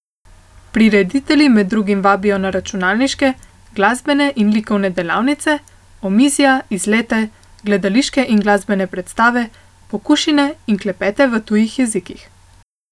Prireditelji med drugim vabijo na računalniške, glasbene in likovne delavnice, omizja, izlete, gledališke in glasbene predstave, pokušine in klepete v tujih jezikih.